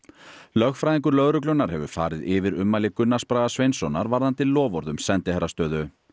lögfræðingur lögreglunnar hefur farið yfir ummæli Gunnars Braga Sveinssonar varðandi loforð um sendiherrastöðu